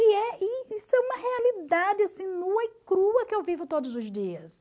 E é e isso é uma realidade assim nua e crua que eu vivo todos os dias.